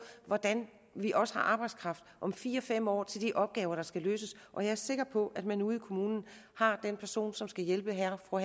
hvordan vi også har arbejdskraft om fire fem år til de opgaver der skal løses og jeg er sikker på at man ude i kommunen har den person som skal hjælpe herre og